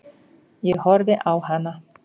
Ég horfi á hana.